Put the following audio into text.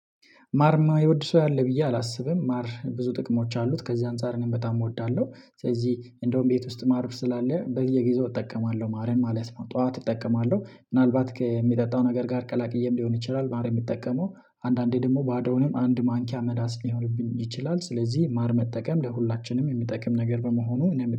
ማር እይማወይወድ ሰው ያለ ብዬ አላስብም። ማር ብዙ ጥቅሞች አሉት ከዚህ አንፃር ነኝ በጣም እወዳለሁ። ስለዚህ እንደውም ቤት ውስጥ ማር ስላለ በየጊዜው እጠቀማለሁ ማለት ነው። ጠዋት እጠቀማለሁ ምናልባት ከሚጠጣው ነገር ጋር ቀላቅዬም ሊሆን ይችላል። ማር የሚጠቀመው አንዳንዴ ደግሞ ባዶውንም አንድ ማንኪያ መላስ ሊሆንብኝ ይችላል። ስለዚህ ማር መጠቀም ለሁላችንም የሚጠቅም ነገር በመሆኑ እኔ